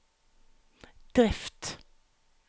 drift